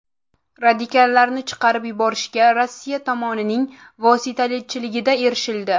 Radikallarning chiqarib yuborilishiga Rossiya tomonining vositachiligida erishildi.